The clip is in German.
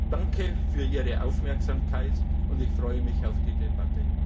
Danke für Ihre Aufmerksamkeit, und ich freue mich auf die Debatte.